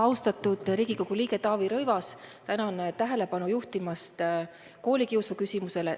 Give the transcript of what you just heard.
Austatud Riigikogu liige Taavi Rõivas, tänan tähelepanu juhtimast koolikiusuküsimusele!